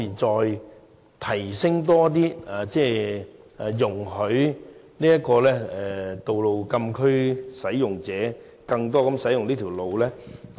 就此，政府會否考慮容許多些道路禁區使用者使用嶼南道呢？